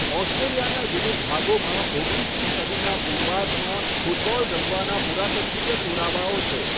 ઓસ્ટ્રેલિયાના વિવિધ ભાગોમાં ઓગણીસમી સદીના પૂર્વાર્ધમાં ફૂટબોલ રમવાના પુરાતત્વીય પુરાવાઓ છે.